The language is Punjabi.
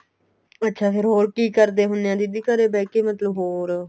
ਅੱਛਾ ਫੇਰ ਹੋਰ ਕੀ ਕਰਦੇ ਹੁੰਨੇ ਆ ਦੀਦੀ ਘਰੇ ਬਿਹਕੇ ਮਤਲਬ ਹੋਰ